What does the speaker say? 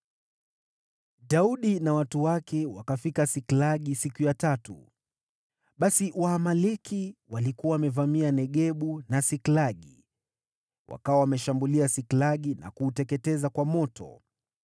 Daudi na watu wake wakafika Siklagi siku ya tatu. Basi Waamaleki walikuwa wamevamia Negebu na Siklagi. Wakawa wameshambulia mji wa Siklagi na kuuteketeza kwa moto,